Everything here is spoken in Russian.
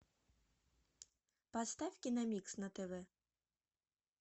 поставь киномикс на тв